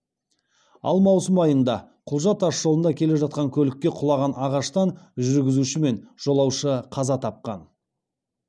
ал маусым айында құлжа тасжолында келе жатқан көлікке құлаған ағаштан жүргізуші мен жолаушы қаза тапқан